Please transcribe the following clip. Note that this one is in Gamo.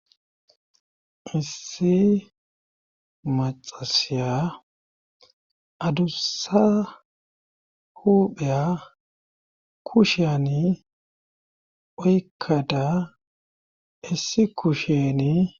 issi maxasiya adussa hupheya kusheyani oykkada issi kusheni